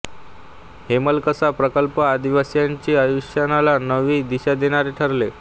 हेमलकसा प्रकल्प आदिवासींच्या आयुष्याला नवी दिशा देणारा ठरला